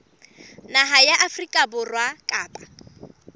naha ya afrika borwa kapa